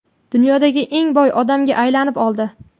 dunyodagi eng boy odamga aylanib oldi.